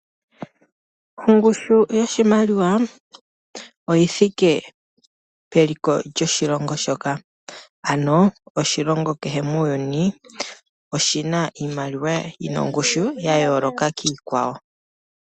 Ongushu yoshimaliwa, oyi thike peliko lyoshilongo shoka. Ano oshilongo kehe muuyuni, oshina iimaliwa yina ongushu ya yooloka kiikwawo.